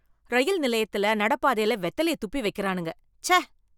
ரயில் நிலையத்தில நட பாதைல வெத்தலையை துப்பி வெக்குறானுங்க, ச்சே.